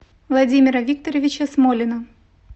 владимира викторовича смолина